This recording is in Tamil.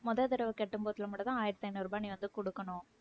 முதல் தடவை கட்டும்போது மட்டும்தான் ஆயிரத்தி ஐந்நூறு ரூபாய் நீ வந்து குடுக்கணும்.